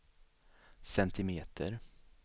centimeter